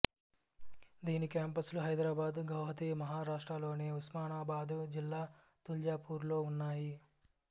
దీని కేంపస్ లు హైదరాబాదు గౌహతి మహారాష్ట్రలోని ఉస్మానాబాదు జిల్లా తుల్జాపూర్లో ఉన్నాయి